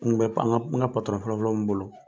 N tun bɛ an ka patɔrɔn fɔlɔfɔlɔ mun bolo